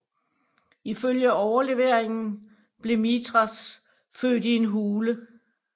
Ifølge overleveringen blev Mithras født i en hule